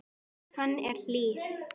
Hann er hlýr.